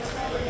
Nə deyir?